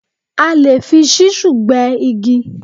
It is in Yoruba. A lè fi ṣísù gbẹ́ igi